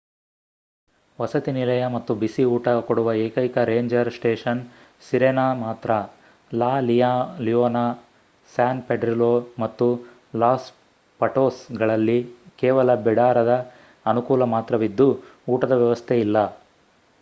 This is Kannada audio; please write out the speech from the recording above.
ವಸತಿನಿಲಯ ಮತ್ತು ಬಿಸಿ ಊಟ ಕೊಡುವ ಏಕೈಕ ರೇಂಜರ್ ಸ್ಟೇಷನ್ ಸಿರೆನಾ ಮಾತ್ರ ಲಾ ಲಿಯೋನ ಸ್ಯಾನ್ ಪೆಡ್ರಿಲೋ ಮತ್ತು ಲಾಸ್ ಪಟೋಸ್ಗಳಲ್ಲಿ ಕೇವಲ ಬಿಡಾರದ ಅನುಕೂಲ ಮಾತ್ರವಿದ್ದು ಊಟದ ವ್ಯವಸ್ಥೆ ಇಲ್ಲ